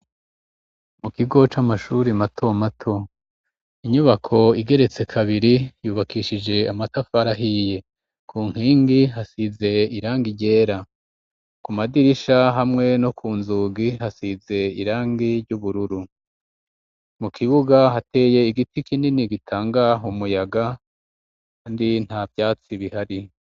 mu kigo c amashuri mato mato, nyubako igeretse kabiri yubakishije amatafari ahiye ,ku nkingi hasize irangi ryera, ku madirisha hamwe no ku nzugi hasize irangi ry'ubururu, mu kibuga hateye igiti kinini gitanga umuyaga, kandi nta byatsi bihari.